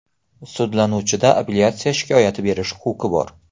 Sudlanuvchida apellyatsiya shikoyati berish huquqi bor.